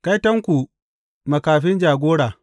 Kaitonku, makafi jagora!